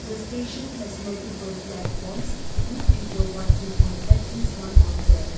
the station has multiple platforms with people walking on atleast one of them.